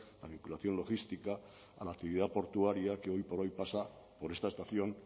la vinculación logística a la actividad portuaria que hoy por hoy pasa por esta estación